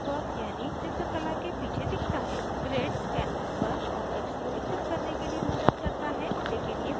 grids canvas पर objects को स्थित करने के लिए मदद करता है लेकिन ये printed नहीं होते हैं